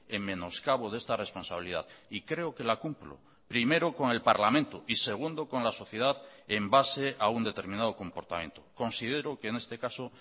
en menos cabo de esta responsabilidad y creo que la cumplo primero con el parlamento y segundo con la sociedad en base a un determinado comportamiento considero que en este caso